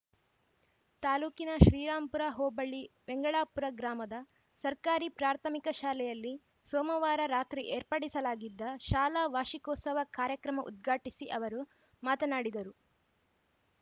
ತಾಲೂಕಿನ ಶ್ರೀರಾಂಪುರ ಹೋಬಳಿ ವೆಂಗಳಾಪುರ ಗ್ರಾಮದ ಸರ್ಕಾರಿ ಪ್ರಾಥಮಿಕ ಶಾಲೆಯಲ್ಲಿ ಸೋಮವಾರ ರಾತ್ರಿ ಏರ್ಪಡಿಸಲಾಗಿದ್ದ ಶಾಲಾ ವಾರ್ಷಿಕೋತ್ಸವ ಕಾರ್ಯಕ್ರಮ ಉದ್ಘಾಟಿಸಿ ಅವರು ಮಾತನಾಡಿದರು